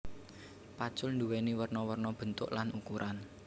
Pacul duwéni werna werna bentuk lan ukuran